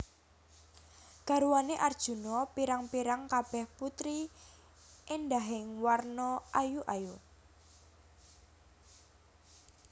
Garwané Arjuna pirang pirang kabèh putri éndahing warna ayu ayu